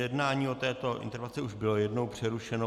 Jednání o této interpelaci už bylo jednou přerušeno.